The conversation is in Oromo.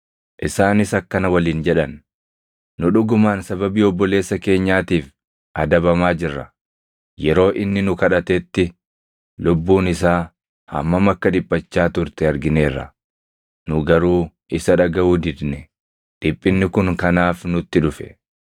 Isaanis akkana waliin jedhan; “Nu dhugumaan sababii obboleessa keenyaatiif adabamaa jirra. Yeroo inni nu kadhatetti lubbuun isaa hammam akka dhiphachaa turte argineerra; nu garuu isa dhagaʼuu didne; dhiphinni kun kanaaf nutti dhufe.”